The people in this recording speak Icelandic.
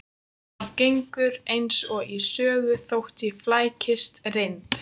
Það gengur eins og í sögu þótt ég flækist reynd